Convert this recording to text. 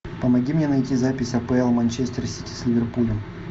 помоги мне найти запись апл манчестер сити с ливерпулем